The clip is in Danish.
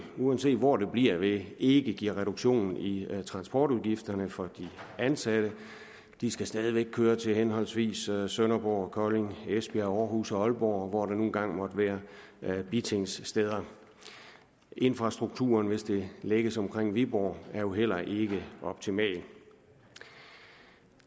uanset hvor det bliver vil ikke give reduktion i transportudgifterne for de ansatte de skal stadig væk køre til henholdsvis sønderborg kolding esbjerg aarhus og aalborg og hvor der nu engang måtte være bitingsteder infrastrukturen er hvis det lægges omkring viborg jo heller ikke optimal